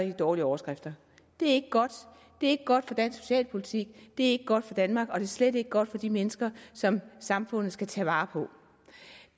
dårlige overskrifter det er ikke godt det er ikke godt for dansk socialpolitik det er ikke godt for danmark og det er slet ikke godt for de mennesker som samfundet skal tage vare på